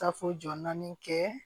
Tafo jɔn naani kɛ